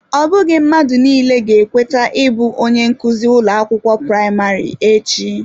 Ọ bụghị mmadụ niile ga-ekweta ịbụ onye nkuzi ụlọ akwụkwọ praịmarị echi.